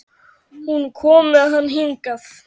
Hún kom með hann hingað.